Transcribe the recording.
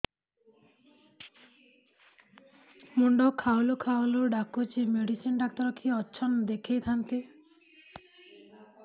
ମୁଣ୍ଡ ଖାଉଲ୍ ଖାଉଲ୍ ଡାକୁଚି ମେଡିସିନ ଡାକ୍ତର କିଏ ଅଛନ୍ ଦେଖେଇ ଥାନ୍ତି